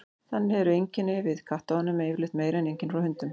þannig eru einkenni við kattaofnæmi yfirleitt meiri en einkenni frá hundum